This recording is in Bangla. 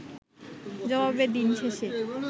জবাবে দিন শেষে